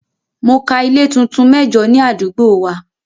Mo ka ilé tuntun mẹ́jo ní àdúgbò wa.